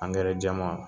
jɛman